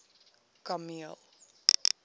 kameel